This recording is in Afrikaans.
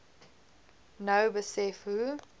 nou besef hoe